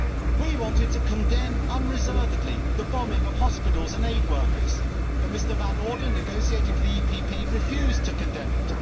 We wanted to condemn, unreservedly, the bombing of hospitals and aid workers, but Mr Van Orden, negotiating for the PPE, refused to condemn it.